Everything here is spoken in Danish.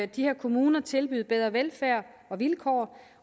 de her kommuner tilbyde bedre velfærd og vilkår